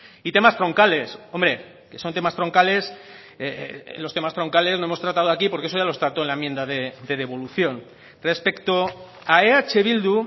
y temas troncales hombre que son temas troncales los temas troncales no hemos tratado aquí porque eso ya los trató en la enmienda de devolución respecto a eh bildu